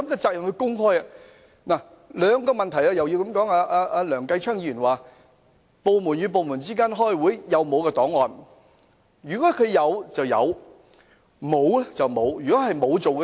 就這兩個問題，梁繼昌議員提及部門與部門之間開會時沒有備存檔案的問題。